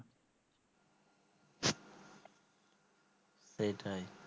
সেই টায়